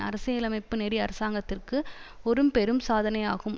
அரசியலமைப்பு நெறி அரசாங்கத்திற்கு ஒரு பெரும் சாதனையாகும்